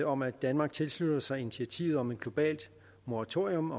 om at danmark tilslutter sig initiativet om et globalt moratorium